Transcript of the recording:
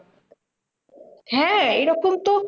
হ্যাঁ এরকম তো